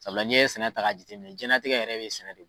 Sabula n'iye sɛnɛ ta ka jateminɛ jɛnlatigɛ yɛrɛ bɛ sɛnɛ de